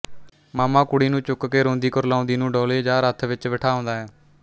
ਮਾਮਾ ਕੁੜੀ ਨੂੰ ਚੁੱਕ ਕੇ ਰੋਂਦੀ ਕੁਰਲਾਉਂਦੀ ਨੂੰ ਡੋਲ਼ੇ ਜਾਂ ਰੱਥ ਵਿੱਚ ਬਿਠਾ ਆਉਂਦਾ ਹੈ